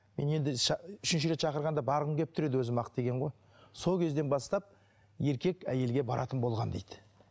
мен енді үшінші рет шақырғанда барғым келіп тұр еді өзім ақ деген ғой сол кезден бастап еркек әйелге баратын болған дейді